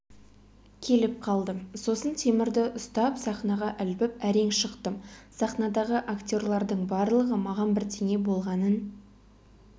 келіп қалдым сосын темірді ұстап сахнаға ілбіп әрең шықтым сахнадағы актерлардың барлығы маған бірдеңе болғанын